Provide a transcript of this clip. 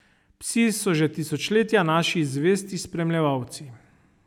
Psi so že tisočletja naši zvesti spremljevalci.